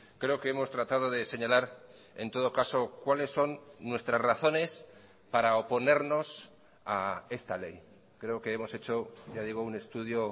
creo que hemos tratado de señalar en todo caso cuáles son nuestras razones para oponernos a esta ley creo que hemos hecho ya digo un estudio